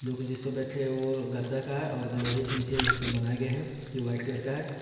जोकि जिस पे बैठे वो गद्दा का है और लोहे के नीचे से बनाए गए हैं जो व्हाइट कलर का है।